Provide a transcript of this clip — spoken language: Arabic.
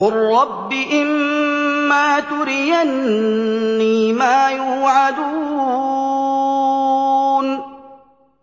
قُل رَّبِّ إِمَّا تُرِيَنِّي مَا يُوعَدُونَ